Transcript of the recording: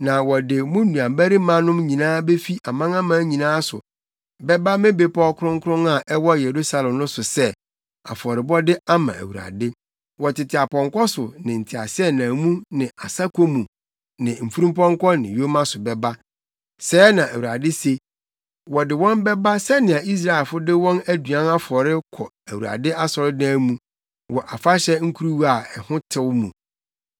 Na wɔde mo nuabarimanom nyinaa befi amanaman nyinaa so bɛba me bepɔw kronkron a ɛwɔ Yerusalem no so sɛ, afɔrebɔde ama Awurade. Wɔtete apɔnkɔ so ne nteaseɛnam mu ne asako mu ne mfurumpɔnkɔ ne yoma so bɛba,” sɛɛ na Awurade se. “Wɔde wɔn bɛba sɛnea Israelfo de wɔn aduan afɔre kɔ Awurade asɔredan mu, wɔ afahyɛ nkuruwa a ho tew mu.